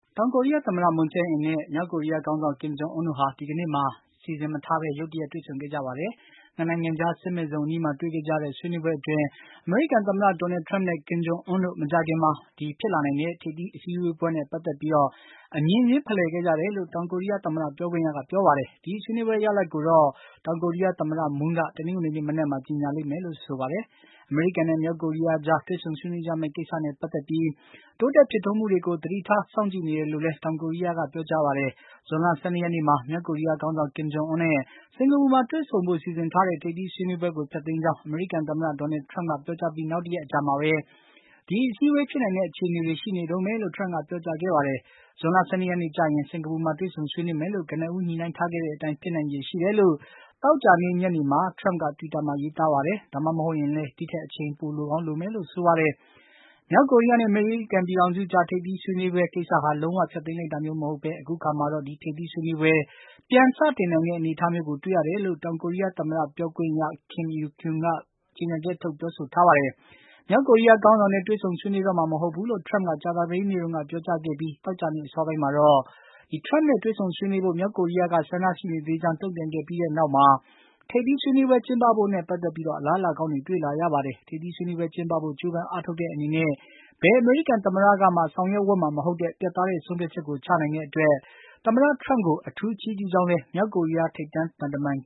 တောင်ကိုရီးယားသမ္မတ Moon Jae-in နဲ့ မြောက်ကိုရီးယားခေါင်းဆောင် Kim Jong Un တို့ဟာ ဒီကနေ့မှာ ရုတ်တရက်တွေ့ဆုံခဲ့ကြပါတယ်။ ၂ နိုင်ငံကြား စစ်မဲ့ဇုံအနီးမှာ တွေ့ခဲ့ကြတဲ့ ဆွေးနွေးပွဲအတွင်း အမေရိကန်သမ္မတ Donald Trump နဲ့ Kim Jong Un တို့ မကြာခင်မှာ ဖြစ်လာနိုင်တဲ့ ထိပ်သီးအစည်းအဝေးပွဲနဲ့ ပတ်သက်ပြီး အမြင်ချင်း ဖလှယ်ခဲ့ကြတယ်လို့ တောင်ကိုရီးယားသမ္မတ ပြောခွင့်ရက ပြောပါတယ်။ ဒီဆွေးနွေးပွဲ ရလာဒ်ကိုတော့ တောင်ကိုရီးယားသမ္မတ Moon က တနင်္ဂနွေ နေ့ မနက်မှာ ကြေညာလိမ့်မယ်လို့လည်း ဆိုပါတယ်။ အမေရိကန်နဲ့ မြောက် ကိုရီးယား ကြား တွေ့ဆုံဆွေးနွေးကြမယ့် ကိစ္စနဲ့ ပတ်သက်ပြီး တိုးတက်ဖြစ်ထွန်းမှုတွေကို သတိထား စောင့်ကြည့်နေတယ်လို့လည်း တောင်ကိုရီးယားက ပြောကြားပါတယ်။ ဇွန်လ ၁၂ ရက်နေ့မှာ မြောက်ကိုရီးယားခေါင်းဆောင် ကင်ဂျုံအွန်းနဲ့ စင်္ကာပူမှာ တွေ့ဆုံဖို့ စီစဉ်ထားတဲ့ ထိပ်သီးဆွေးနွေးပွဲကို ဖျက်သိမ်းကြောင်း အမေရိကန်သမ္မတ ဒေါ်နယ်လ် ထရမ့်က ပြောကြားပြီး နောက်တရက်အကြာမှာပဲ ဒီအစည်းအဝေး ဖြစ်နိုင်တဲ့ အခြေအနေ တွေ ရှိနေတုန်းပဲလို့ ထရမ့်က ပြောကြားခဲ့တာပါ။ ဇွန်လ ၁၂ ရက်နေ့ကျရင် စင်္ကာပူမှာ တွေ့ဆုံဆွေးနွေးမယ်လို့ ကနဦး ညှိနှိုင်းထားခဲ့တဲ့အတိုင်း ဖြစ်နိုင်ခြေရှိတယ်လို့ သောကြာ နေ့ ညနေမှာလည်း ထရမ့်က တွိတာမှာ ရေးသားပါတယ်။ ဒါမှမဟုတ်ရင်လည်း ဒီထက် အချိန်ပို လိုကောင်းလိုမယ်လို့လည်း ဆိုပါတယ်။ မြောက်ကိုရီးယားနဲ့ အမေရိကန်ပြည်ထောင်စုကြား တွေ့ဆုံဆွေးနွေးဖို့ကိစ္စဟာ လုံးဝ ဖျက်သိမ်းလိုက်တာမျိုးမဟုတ်ဘဲ အခုအခါမှာတော့ ဒီထိပ်သီးဆွေးနွေးပွဲ ပြန်စတင်နိုင်တဲ့ အနေအထားမျိုးကို တွေ့ရတယ်လို့ တောင်ကိုရီးယားသမ္မတ ပြောခွင့်ရ Kim Eui-kyeom က ကြေညာချက်ထုတ် ပြောဆိုထားပါတယ်။ မြောက်ကိုရီးယားခေါင်းဆောင်နဲ့ တွေ့ဆုံဆွေးနွေးတော့မှာ မဟုတ်ဘူးလို့ ထရမ့်က ကြာ သပတေးနေ့တုန်းက ပြောကြားခဲ့ပြီး သောကြာနေ့အစောပိုင်းမှာတော့ ထရမ့်နဲ့ တွေ့ဆုံ ဆွေးနွေးဖို့ မြောက်ကိုရီးယားက ဆန္ဒရှိနေသေးကြောင်း တုံ့ပြန်ခဲ့ပြီးနောက်မှာ ထိပ်သီး ဆွေးနွေးပွဲ ကျင်းပဖို့နဲ့ ပတ်သက်ပြီး အလားအလာကောင်းတွေ တွေ့လာရပါ တယ်။ ထိပ်သီးဆွေးနွေးပွဲကျင်းပဖို့ ကြိုးပမ်းအားထုတ်တဲ့အနေနဲ့ ဘယ်အမေရိကန်သမ္မတကမှာ ဆောင်ရွက်ဝံ့မှာမဟုတ်တဲ့ ပြတ်သားတဲ့ ဆုံးဖြတ်ချက်ကို ချနိုင်တဲ့အတွက် သမ္မတ ထရမ့် ကို အထူးချီးကျူးပါကြောင်း မြောက်ကိုရီးယား ထိပ်တန်းသံတမန်